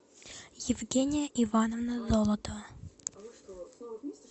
евгения ивановна золотова